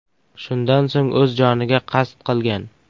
Shundan so‘ng o‘z joniga qasd qilgan.